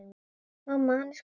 Mamma, hann er kominn!